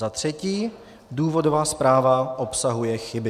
Za třetí, důvodová zpráva obsahuje chyby.